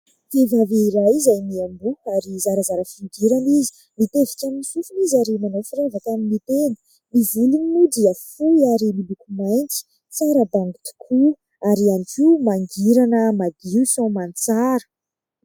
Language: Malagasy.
Vehivavy iray izay miamboho ary zarazara fihodirana izy, mitevika amin'ny sofina izy ary manao firavaka amin'ny tenda. Ny volony moa dia fohy ary miloko mainty, tsara bango tokoa ary ihany koa mangirana madio soamantsara.